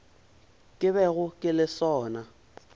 ke bego ke le sona